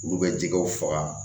Olu bɛ jɛgɛw faga